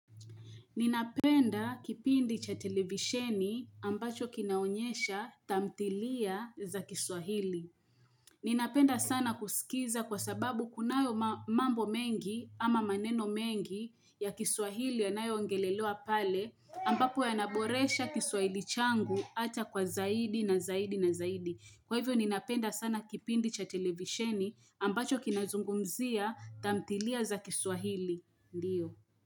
Ninapenda kipindi cha televisheni ambacho kinaonyesha tamthilia za kiswahili. Ninapenda sana kusikiza kwa sababu kunayo mambo mengi ama maneno mengi ya kiswahili yanayo ongelelewa pale ambapo yanaboresha kiswahili changu hata kwa zaidi na zaidi na zaidi. Kwa hivyo ninapenda sana kipindi cha televisheni ambacho kinazungumzia tamthilia za kiswahili, ndio.